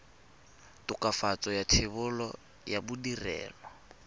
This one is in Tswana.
tokafatso ya thebolo ya ditirelo